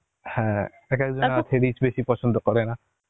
হ্যাঁ এক এক জন আছে rich বেশি পছন্দ করে না